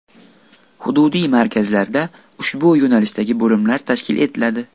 Hududiy markazlarda ushbu yo‘nalishdagi bo‘limlar tashkil etiladi.